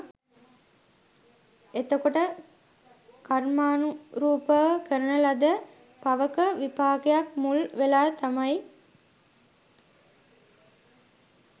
එතකොට කර්මානුරූපව කරන ලද පවක විපාකයක් මුල් වෙලා තමයි